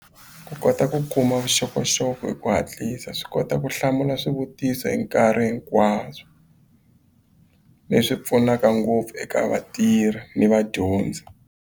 Ku kota ku kuma vuxokoxoko hi ku hatlisa swi kota ku hlamula swivutiso hi nkarhi hinkwaswo leswi pfunaka ngopfu eka vatirhi ni vadyondzi.